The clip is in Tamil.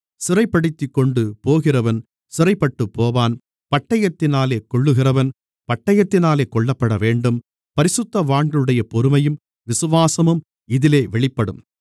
சிறைப்படுத்திக்கொண்டு போகிறவன் சிறைப்பட்டுப்போவான் பட்டயத்தினாலே கொல்லுகிறவன் பட்டயத்தினாலே கொல்லப்படவேண்டும் பரிசுத்தவான்களுடைய பொறுமையும் விசுவாசமும் இதிலே வெளிப்படும்